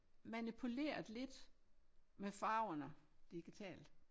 Manipuleret lidt med farverne digitalt